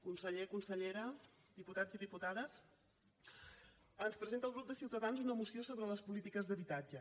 conseller consellera diputats i diputades ens presenta el grup de ciutadans una moció sobre les polítiques d’habitatge